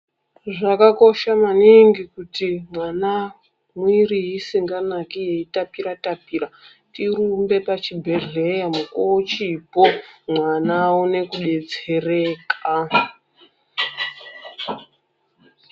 Zvakakosha maningi kuti mwana, mwiri isinganaki yeitapira tapira, tirumbe pachibhedhleya mukuwo uchipo mwana aone kudetsereka.